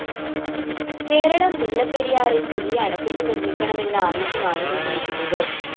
കേരളം മുല്ലപ്പെരിയാറില്‍ പുതിയ അണക്കെട്ട് നിര്‍മ്മിക്കണമെന്ന ആവശ്യമാണ് ഉന്നയിക്കുന്നത്